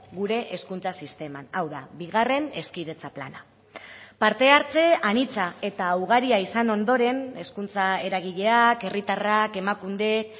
gure hezkuntza sisteman hau da bigarren hezkidetza plana parte hartze anitza eta ugaria izan ondoren hezkuntza eragileak herritarrak emakundek